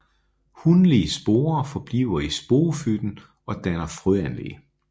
Hunlige sporer forbliver i sporofytten og danner frøanlæg